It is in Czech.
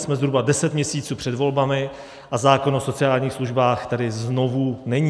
Jsme zhruba deset měsíců před volbami a zákon o sociálních službách tedy znovu není.